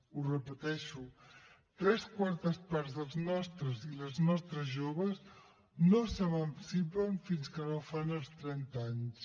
ho repeteixo tres quartes parts dels nostres i les nostres joves no s’emancipen fins que no fan els trenta anys